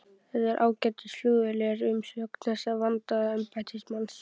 Þetta er ágætis flugvél er umsögn þessa vandaða embættismanns.